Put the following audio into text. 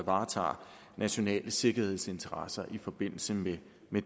varetager nationale sikkerhedsinteresser i forbindelse med